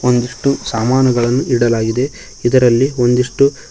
ಒಂದಿಷ್ಟು ಸಾಮಾನುಗಳನ್ನು ಇಡಲಾಗಿದೆ ಇದರಲ್ಲಿ ಒಂದಿಷ್ಟು--